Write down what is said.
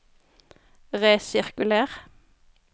resirkuler